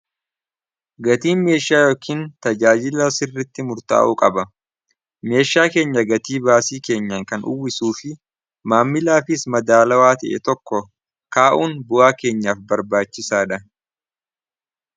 gatii meeshaa yookiin tajaajila sirritti murtaa'uu qaba meeshaa keenya gatii baasii keenya kan uwwisuu fi maammilaafis madaalawaa ta'e tokko kaa'uun bu'aa keenyaaf barbaachisaa dha